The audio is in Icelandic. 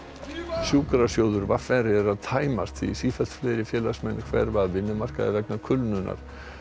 sjúkrasjóður v r er að tæmast því sífellt fleiri félagsmenn hverfa af vinnumarkaði vegna kulnunar